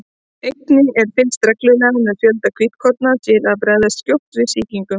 einnig er fylgst reglulega með fjölda hvítkorna til að bregðast skjótt við sýkingum